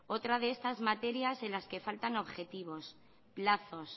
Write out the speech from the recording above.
otra de estas materias en las que faltan objetivos plazos